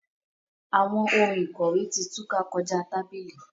Awọn òun ikọwe ti túká kọja tábìlì.